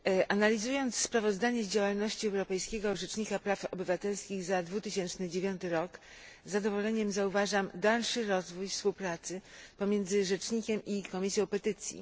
Analizując sprawozdanie z działalności Europejskiego Rzecznika Praw Obywatelskich za 2009 rok z zadowoleniem zauważam dalszy rozwój współpracy pomiędzy rzecznikiem i Komisją Petycji.